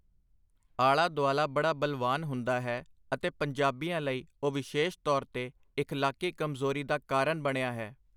ਆਲਾ-ਦੁਆਲਾ ਬੜਾ ਬਲਵਾਨ ਹੁੰਦਾ ਹੈ, ਅਤੇ ਪੰਜਾਬੀਆਂ ਲਈ ਉਹ ਵਿਸ਼ੇਸ਼ ਤੌਰ ਤੇ ਇਖਲਾਕੀ ਕਮਜ਼ੋਰੀ ਦਾ ਕਾਰਨ ਬਣਿਆ ਹੈ.